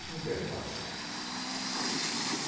Isso não tem espaço.